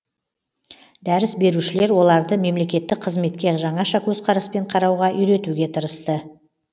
дәріс берушілер оларды мемлекеттік қызметке жаңаша көзқараспен қарауға үйретуге тырысты